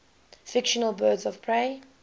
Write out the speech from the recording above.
fictional birds of prey